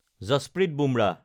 Jasprit Bumrah